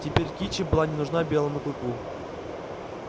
теперь кичи была не нужна белому клыку